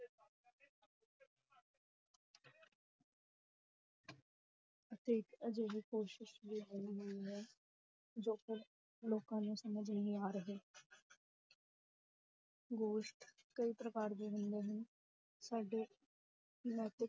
ਅਤੇ ਇੱਕ ਅਜਿਹੀ ਕੋਸ਼ਿਸ਼ ਜੋ ਕਿ ਲੋਕਾਂ ਨੂੰ ਸਮਝ ਨਹੀਂ ਆ ਰਹੇ ਗੋਸ਼ਟ ਕਈ ਪ੍ਰਕਾਰ ਦੇ ਹੁੰਦੇ ਹਨ ਸਾਡੇ ਨੈਤਿਕ